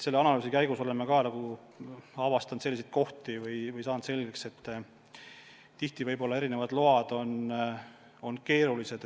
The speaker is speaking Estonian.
Selle analüüsi käigus oleme selgeks saanud, et tihti on erinevate lubadega lood keerulised.